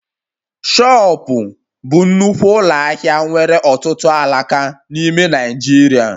Shupo bụ nnukwu ụlọ ahịa nwere ọtụtụ alaka n'ime Naijiria